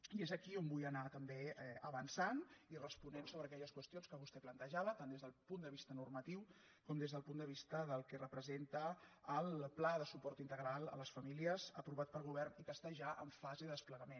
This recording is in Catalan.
i és aquí on vull anar també avançant i responent sobre aquelles qüestions que vostè plante·java tant des del punt de vista normatiu com des del punt de vista del que representa el pla de suport inte·gral a les famílies aprovat pel govern i que està ja en fase de desplegament